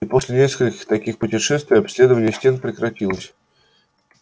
и после нескольких таких путешествий обследование стен прекратилось